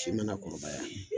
Si mana kɔrɔbaya, .